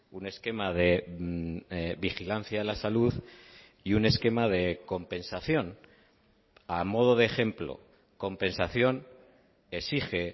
un esquema de vigilancia a la salud y un esquema de compensación a modo de ejemplo compensación exige